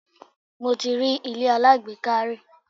Mo ti rí ilé alágbèéká rí.